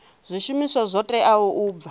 zwishumiswa zwo teaho u bva